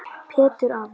Pétur afi.